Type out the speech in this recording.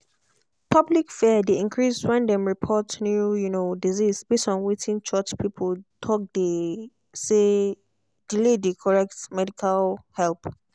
public fear dey increase when dem report new um disease base on wetin church people talke dey um delay the correct medical help. um